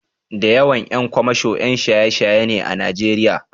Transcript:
Da yawan ƴan kwamasho ƴan shaye-shaye ne a Najeriya.